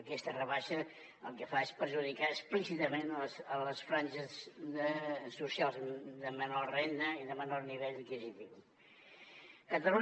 aquesta rebaixa el que fa és perjudicar explícitament les franges socials de menor renda i de menor nivell adquisitiu